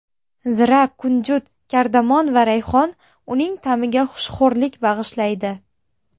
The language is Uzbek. Zira, kunjut, kardamon va rayhon uning ta’miga xushxo‘rlik bag‘ishlaydi.